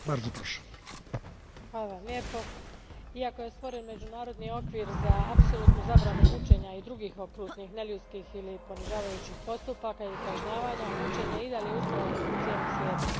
Gospodine predsjedniče, iako je stvoren međunarodni okvir za apsolutnu zabranu mučenja i drugih okrutnih neljudskih ili ponižavajućih postupaka ili kažnjavanja, mučenje i dalje ustraje u cijelom svijetu.